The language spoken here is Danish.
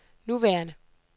nuværende